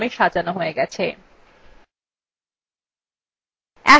দেখুন কলামটি উর্ধক্রমে সাজানো হয়ে গেছে